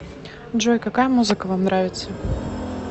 джой какая музыка вам нравится